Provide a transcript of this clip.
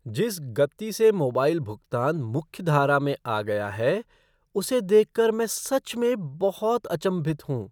जिस गति से मोबाइल भुगतान मुख्य धारा में आ गया है उसे देखकर मैं सच में बहुत अचंभित हूँ।